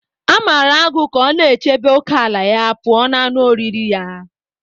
A mara agụ ka ọ na-echebe ókèala ya pụọ ​​na anụ oriri ya.